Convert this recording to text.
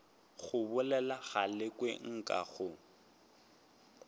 go bolela galekwe nka go